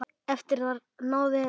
Eftir þetta náði ræða